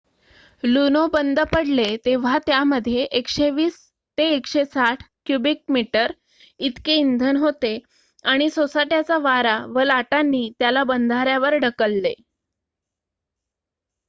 लुनो बंद पडले तेव्हा त्यामध्ये १२०-१६० क्युबिक मीटर इतके इंधन होते आणि सोसाट्याचा वारा व लाटांनी त्याला बंधाऱ्यावर ढकलले